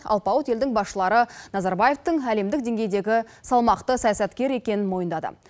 алпауыт елдің басшылары назарбаевтың әлемдік деңгейдегі салмақты саясаткер екенін мойындады